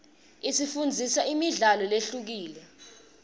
isifundzisa imidlalo lehlukile